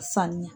Sanuya